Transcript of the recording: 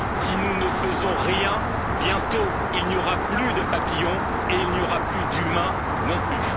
Si nous ne faisons rien, bientôt il n'y aura plus de papillons et il n'y aura plus d'humains non plus.